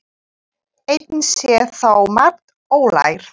Enn sé þó margt ólært.